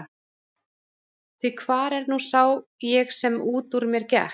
Því hvar er nú sá ég sem út úr mér gekk?